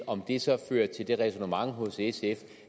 om det så fører til det ræsonnement hos sf